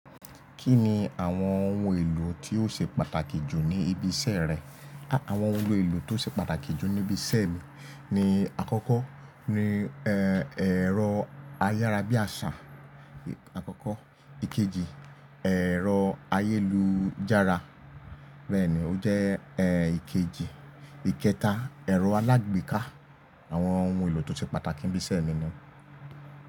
Kí ni àwọn ohun èlò tí ó ṣe pàtàkì jù ní ibi iṣẹ́ rẹ? Àwọn ohun èlò tí ó ṣe pàtàkì jù níbi iṣẹ́ mi ni àkọ́kọ́ ni ẹ̀rọ ayára-bí-àsá àkọ́kọ́, ìkejì ẹ̀rọ ayélujára bẹ́ẹ̀ ni ó jẹ́ ìkejì. Ìkẹta ẹ̀rọ alágbèéká àwọn ohun èlò tó ṣe pàtàkì níbi iṣẹ́ mi ni.